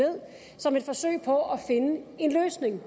som et forsøg på at finde en løsning